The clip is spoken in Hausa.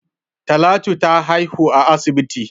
Talatu ta haihu a asibit.